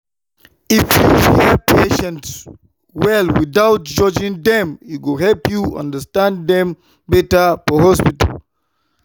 if you hear patients well without judging dem e go help you understand dem better for hospital.